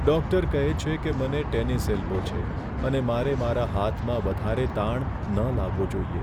Doctor કહે છે કે મને ટેનિસ એલ્બો છે અને મારે મારા હાથમાં વધારે તાણ ન લાવવો જોઈએ.